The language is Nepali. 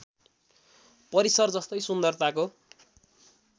परिसर जस्तै सुन्दरताको